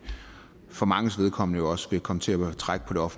for manges vedkommende også vil komme til at trække på